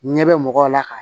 Ɲɛ bɛ mɔgɔw la ka